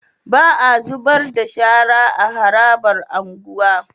Ba a zubarda shara a harabar unguwa